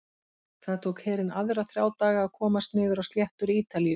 Það tók herinn aðra þrjá daga að komast niður á sléttur Ítalíu.